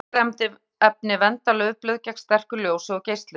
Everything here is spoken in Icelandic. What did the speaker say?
Þessi litarefni vernda laufblöð gegn sterku ljósi og geislun.